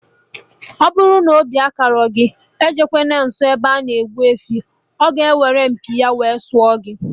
Ọbụrụ na obi akarọ gị, ejekwana nsọ ebe ana egbu efi oo, ọ ga-eweru mpi ya wee sụọ gị